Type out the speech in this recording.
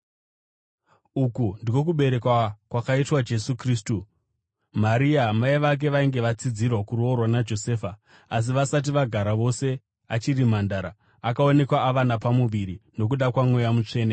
Uku ndiko kuberekwa kwakaitwa Jesu Kristu: Maria, mai vake vainge vatsidzirwa kuroorwa naJosefa, asi vasati vagara vose, achiri mhandara, akaonekwa ava napamuviri nokuda kwaMweya Mutsvene.